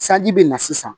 Sanji bɛ na sisan